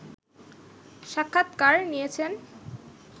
সাক্ষাৎকার নিয়েছেন